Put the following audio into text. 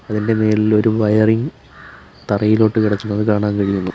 അതിൻ്റെ മേളിൽ ഒരു വയറിങ് തറയിലോട്ട് കടക്കുന്നത് കാണാൻ കഴിയുന്നു.